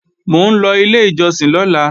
Mò ń lọ ilé ìjọsìn lọ́la